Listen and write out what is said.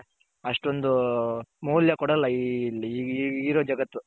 ಅಷ್ಟೊಂದು ಮೌಲ್ಯ ಕೊಡೋಲ್ಲ ಇಲ್ಲಿರೋ ಜಗತ್ತು.